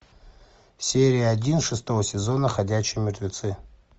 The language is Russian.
серия один шестого сезона ходячие мертвецы